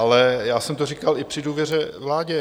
Ale já jsem to říkal i při důvěře vládě.